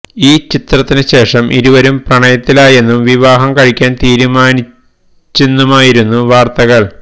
ഈ ചിത്രത്തിന് ശേഷം ഇരുവരും പ്രണയത്തിലായെന്നും വിവാഹം കഴിക്കാന് തീരുമാനിച്ചെന്നുമായിരുന്നു വാര്ത്തകള്